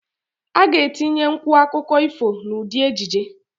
A ga etinye nwu akụkụ ifo n'ụdị ejije